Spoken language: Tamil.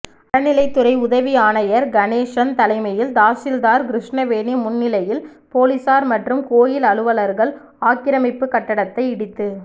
அறநிலையத்துறை உதவி ஆணையர் கணேசன் தலைமையில் தாசில்தார் கிருஷ்ணவேணி முன்னிலையில் போலீசார் மற்றும் கோயில் அலுவலர்கள் ஆக்கிரமிப்பு கட்டடத்தை இடித்து